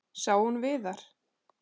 Sá hún Viðar?